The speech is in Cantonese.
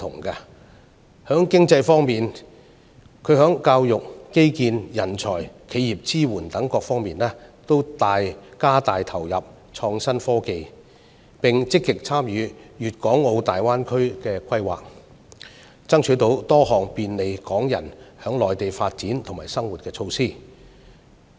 在經濟方面，行政長官在教育、基建、人才、企業支援等各方面均加大投入創新科技，並積極參與粵港澳大灣區的規劃，爭取多項便利港人在內地發展和生活的措施。